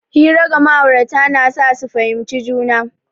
Hira ga ma'aurata na sa su fahimci juna.